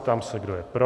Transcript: Ptám se, kdo je pro.